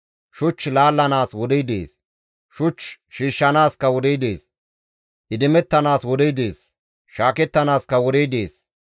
Shuch laallanaas wodey dees; shuch shiishshanaaskka wodey dees. Idimettanaas wodey dees; shaakettanaaskka wodey dees.